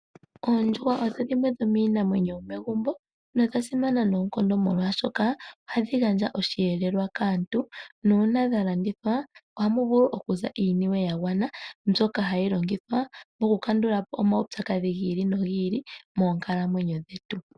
Oondjuhwa odho iinamwenyo yomegumbo nodha simana noonkondo molwaashoka ohadhi gandja osheelelwa kaantu nuuna dha landithwa ohamu vulu okuza iiniwe ya gwana mbyoka hayi longithwa okukandula po omaupyakadhi gi ili nogi ili moonkalamwenyo dhetu.